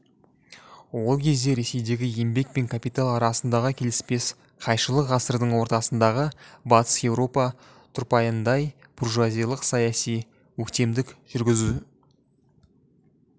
ол кезде ресейдегі еңбек пен капитал арасындағы келіспес қайшылық ғасырдың ортасындағы батыс еуропа тұрпайындай бужуазиялық саяси өктемдік жүргізу